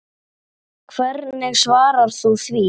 Hvernig svarar þú því?